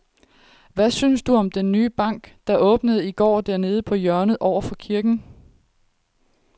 Hvad synes du om den nye bank, der åbnede i går dernede på hjørnet over for kirken?